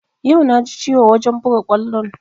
Yau na ji ciwo wajen buga kwallon